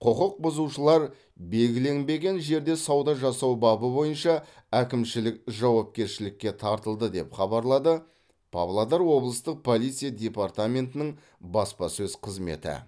құқықбұзушылар белгіленбеген жерде сауда жасау бабы бойынша әкімшілік жауапкершілікке тартылды деп хабарлады павлодар облыстық полиция департаментінің баспасөз қызметі